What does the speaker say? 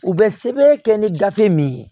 U bɛ sɛbɛn kɛ ni gafe min ye